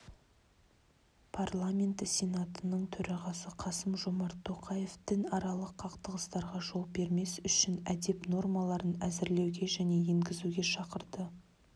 парламенті сенатының төрағасы қасым-жомарт тоқаев дінаралық қақтығыстарға жол бермес үшін әдеп нормаларын әзірлеуге және енгізуге шақырды